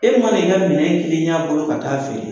E mana i ka minɛn kelen y'a bolo ka taa'a feere